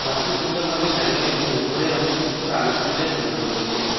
ঘরটি সুন্দরভাবে সাজানো এবং উপরের অংশে কিছু আলোকসজ্জার ঝুলানো রয়েছে।